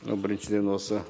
ы біріншіден осы